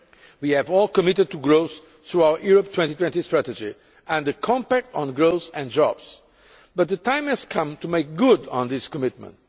We have all committed to growth through our Europe 2020 Strategy and the compact on growth and jobs. But the time has come to make good on this commitment.